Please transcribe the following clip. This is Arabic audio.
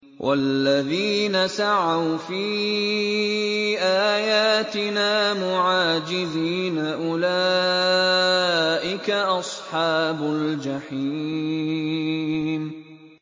وَالَّذِينَ سَعَوْا فِي آيَاتِنَا مُعَاجِزِينَ أُولَٰئِكَ أَصْحَابُ الْجَحِيمِ